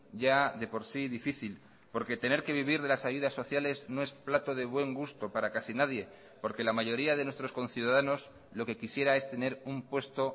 ya de por sí difícil porque tener que vivir de las ayudas sociales no es plato de buen gusto para casi nadie porque la mayoría de nuestros conciudadanos lo que quisiera es tener un puesto